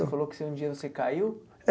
Você falou que você um dia você caiu? É